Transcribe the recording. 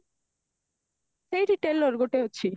ସେଇଠି tailor ଗୋଟେ ଅଛି